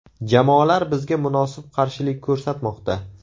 Jamoalar bizga munosib qarshilik ko‘rsatmoqda.